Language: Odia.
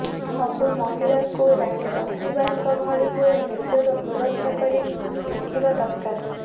ସବୁ ମହିଳାଙ୍କୁ ରାଣୀ ଲକ୍ଷ୍ମୀବାଈଙ୍କ ଭଳି ହୋଇ ନିଜର ସୁରକ୍ଷା କରି ଶିଖିବା ଦରାକାର